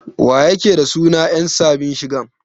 Wa yake da suna yan sabin shigan?